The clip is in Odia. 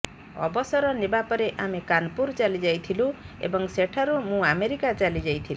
ଅବସର ନେବା ପରେ ଆମେ କାନପୁର ଚାଲି ଯାଇଥିଲୁ ଏବଂ ସେଠାରୁ ମୁଁ ଆମେରିକା ଚାଲି ଯାଇଥିଲି